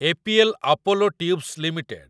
APL Apollo tubes limited